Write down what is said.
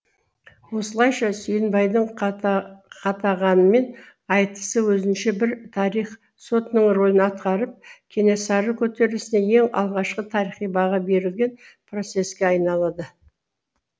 осылайша сүйінбайдың қатағанмен айтысы өзінше бір тарих сотының рөлін атқарып кенесары көтерілісіне ең алғашқы тарихи баға берілген процесске айналады